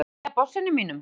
Nýja bossinum mínum.